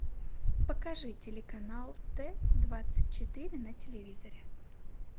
покажи телеканал т двадцать четыре на телевизоре